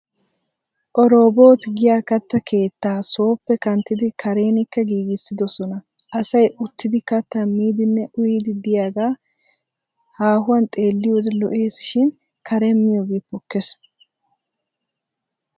Oroobot giya katta keettaa sooppe kanttidi karenikka giigissidosan asay uttidi kattaa miiddinne uyyiiddi diyagaa haahuwan xeelliyode lo'es shin karen miyoge pokkes.